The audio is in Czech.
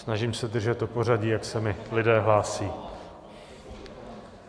Snažím se držet to pořadí, jak se mi lidé hlásí.